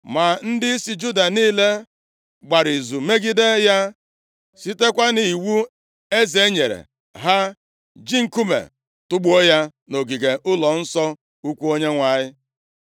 Ma ndịisi Juda niile gbara izu megide ya, sitekwa nʼiwu eze nyere ha ji nkume tugbuo ya nʼogige ụlọnsọ ukwu Onyenwe anyị.